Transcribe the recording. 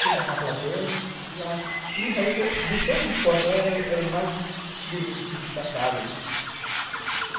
Quem estava na plateia... E, realmente, de todos os cortes, era era o mais bonito, destacado, né.